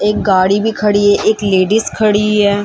एक गाड़ी भी खड़ी है एक लेडिज खड़ी इ है।